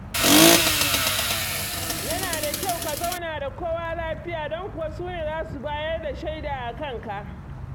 Yana da kyau ka zauna da kowa lafiya don kuwa su ne za su bayar da shaida a kanka.